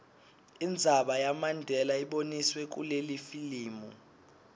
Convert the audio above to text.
indzaba yamandela iboniswe kulelifilimu